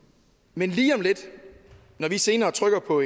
men når vi senere trykker på